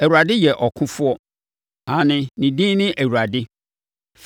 Awurade yɛ ɔkofoɔ; Aane, ne din ne Awurade.